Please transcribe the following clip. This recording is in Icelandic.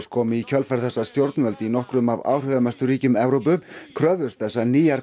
komu í kjölfar þess að stjórnvöld í nokkrum af áhrifamestu ríkjum Evrópu kröfðust þess að nýjar